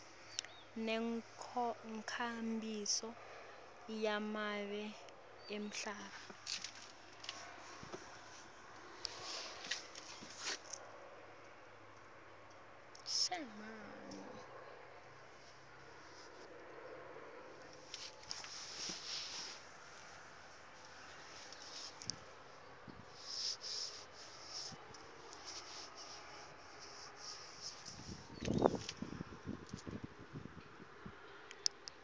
nenkhambiso yemave emhlaba